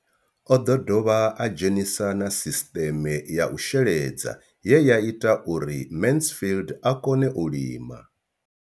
O ḓo dovha a dzhenisa na sisiṱeme ya u sheledza ye ya ita uri Mansfied a kone u lima.